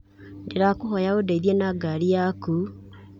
Ndĩrakũhoya ũndeithie na ngari yaku.